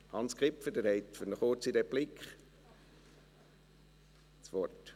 Hans Kipfer, Sie haben für eine kurze Replik das Wort.